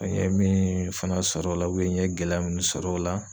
An ye min fana sɔr'o la n ye gɛlɛya minnu sɔr'o la